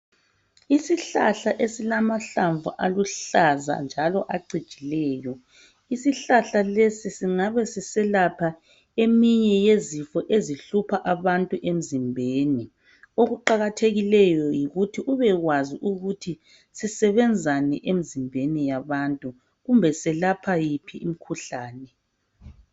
Isihlahla esilamahlamvu aluhlaza njalo acijileyo, isihlahla lesi singabe siselapha eminye yezifo ezihlupha abantu emzimbeni okuqakathekileyo yikuthi ubekwazi ukuthi sisebenzani emzimbeni yabantu kumbe silapha yiphi imkhuhlane.